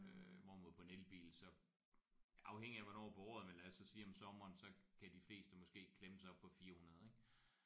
Øh hvorimod på en elbil så afhængig af hvornår på året men lad os så sige om sommeren så kan de fleste måske klemme sig op på 400 ik